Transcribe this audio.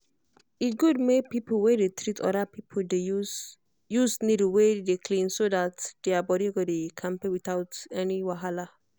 e good make people wey dey treat other people dey use use needle wey clean so that their body go dey kampe without any wahala.